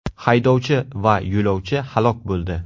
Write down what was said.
Haydovchi va yo‘lovchi halok bo‘ldi.